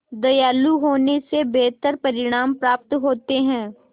दयालु होने से बेहतर परिणाम प्राप्त होते हैं